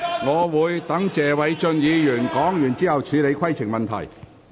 我會待謝偉俊議員發言完畢，才處理規程問題。